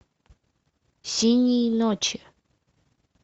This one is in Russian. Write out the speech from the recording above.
синие ночи